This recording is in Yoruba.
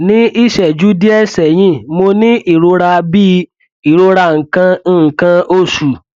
ní ìṣẹjú díẹ sẹyìn mo ní ìrora bíi ìrora nǹkan nǹkan oṣù